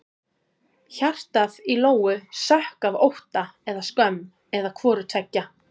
Hjartað í Lóu sökk af ótta eða skömm eða hvoru tveggja.